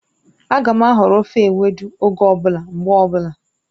Ága m ahọrọ ofe ewedu oge ọ bụla, mgbe ọbụla